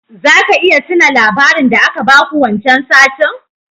Zaka iya tuna labarin da aka baku wancan satin?